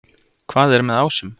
Hvað er með ásum?